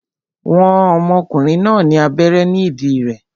Wọ́n ọmọkùnrin náà ní abẹ́rẹ́ ní ìdí rẹ̀